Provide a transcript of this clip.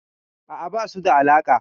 A'a, ba su da alaƙa.